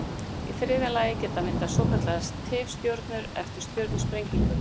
Í þriðja lagi geta myndast svokallaðar tifstjörnur eftir stjörnusprengingu.